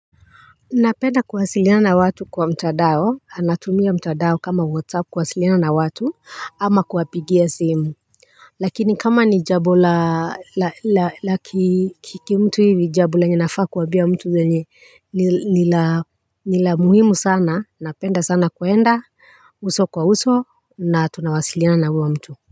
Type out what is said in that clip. Napenda kuwasiliana na watu kwa mtandao. Anatumia mtandao kama whatsapp kuwasiliana na watu ama kuwapigia simu. Lakini kama ni jambo la laki kiki mtu hivi jambo lenye nafaa kuambia mtu lenye nila muhimu sana napenda sana kuenda uso kwa uso na tunawasiliana na huyo mtu.